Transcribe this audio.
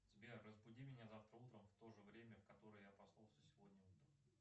сбер разбуди меня завтра утром в то же время в которое я проснулся сегодня утром